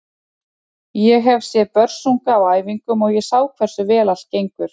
Ég hef séð Börsunga á æfingum og ég sá hversu vel allt gengur.